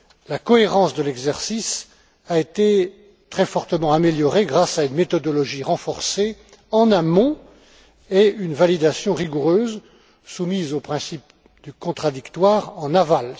La cohérence de l'exercice a été très fortement améliorée grâce à une méthodologie renforcée en amont et une validation rigoureuse soumise au principe du contradictoire en aval.